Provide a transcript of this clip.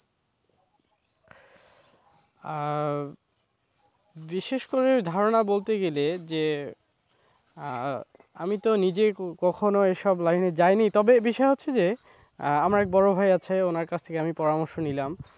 আহ বিশেষ করে ধারণা বলতে গেলে যে আহ আমি তো নিজে কখনো এইসব line এ যাইনি তবে বিষয় হচ্ছে যে আমার এক বড় ভাই আছে ওনার কাছ থেকে আমি পরামর্শ নিলাম।